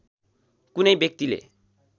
कुनै व्यक्तिले